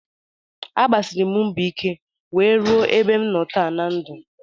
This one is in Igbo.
Agbasiri m mbọ ike nwee ruo ebe m nọ taa na ndụ